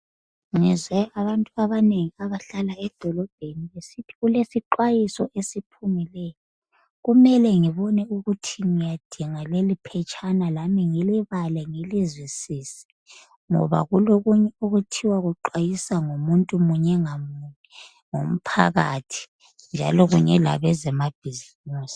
ngizwe abantu abanengi abahlala edolobheni besithi kulesixwayiso esiphumileyo kumele ngibone ukuthi ngiyadinga leliiphetshana lami ngilibale ngilizwisise ngoba kulokunye okuthiwa kuxwayiswa umuntu munye ngamunye ngomphakathi njalo ngama bhizimusi